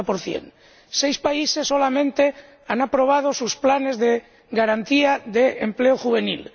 50 Seis países solamente han aprobado sus planes de garantía de empleo juvenil